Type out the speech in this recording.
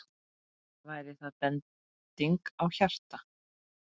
Væri það bending á hjarta?